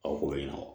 Aw ko yan nɔ